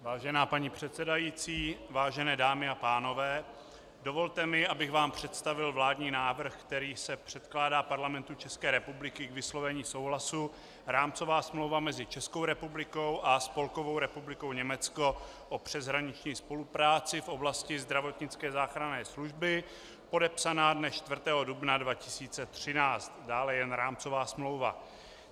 Vážená paní předsedající, vážené dámy a pánové, dovolte mi, abych vám představil vládní návrh, kterým se předkládá Parlamentu České republiky k vyslovení souhlasu Rámcová smlouva mezi Českou republikou a Spolkovou republikou Německo o přeshraniční spolupráci v oblasti zdravotnické záchranné služby podepsaná dne 4. dubna 2013, dále jen rámcová smlouva.